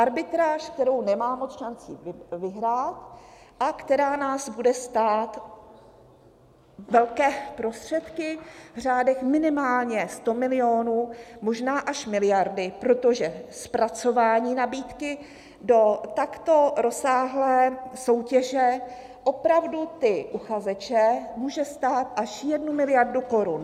Arbitráž, kterou nemá moc šancí vyhrát a která nás bude stát velké prostředky v řádech minimálně 100 milionů, možná až miliardy, protože zpracování nabídky do takto rozsáhlé soutěže opravdu ty uchazeče může stát až jednu miliardu korun.